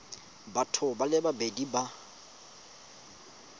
batho ba le babedi ba